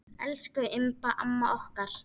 Elsku Imba amma okkar.